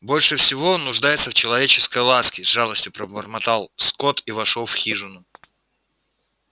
больше всего он нуждается в человеческой ласке с жалостью пробормотал скотт и вошёл в хижину